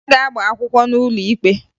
Ada ga-agba akwụkwọ n'ụlọ ikpe